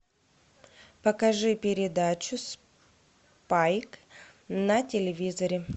покажи передачу спайк на телевизоре